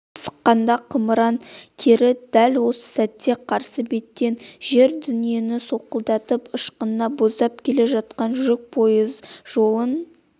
қырсыққанда қымыран кері дәл осы сәтте қарсы беттен жер-дүниені солқылдатып ышқына боздап келе жатқан жүк пойыз жолын